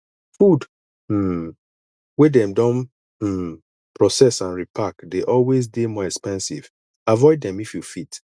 food um wey dem don um proccess and repark dey always dey more expensive avoid them if you fit